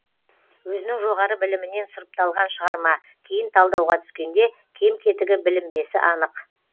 өзінің жоғары білімінен сұрыпталған шығарма кейін талдауға түскенде кем кетігі білінбесі анық